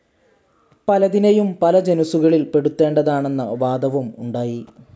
പലതിനെയും പല ജനുസുകളിൽ പെടുത്തേണ്ടതാണെന്ന വാദവും ഉണ്ടായി.